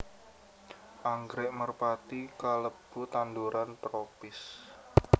Anggrèk merpati kalebu tanduran tropis